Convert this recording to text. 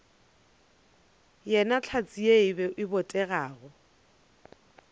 yena hlatse ye e botegago